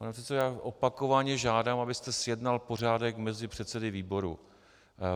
Pane předsedo, já opakovaně žádám, abyste zjednal pořádek mezi předsedy výborů.